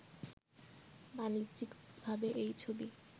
বাণিজ্যিকভাবে এই ছবি